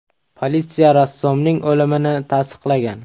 Politsiya rassomning o‘limini tasdiqlagan.